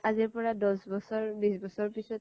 আজিৰ পৰা দহ বিশ ব্ছৰ পিছ্ত